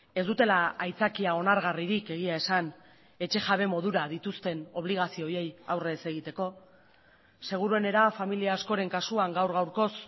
ez dutela aitzakia onargarririk egia esan etxejabe modura dituzten obligazio horiei aurre ez egiteko seguruenera familia askoren kasuan gaur gaurkoz